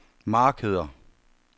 markeder